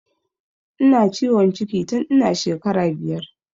Ina ciwon ciki tun ina shekara biyar